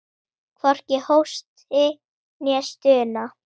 Hvorki hósti né stuna.